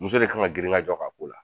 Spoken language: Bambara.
Muso de kan ŋa girinkajɔ k'a ko la.